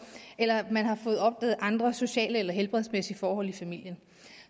eller man har fået opdaget andre sociale eller helbredsmæssige forhold i familien